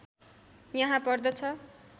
यहाँ पर्दछ